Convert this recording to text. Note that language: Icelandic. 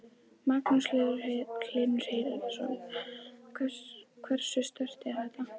Magnús Hlynur Hreiðarsson: Hversu sterkt er þetta?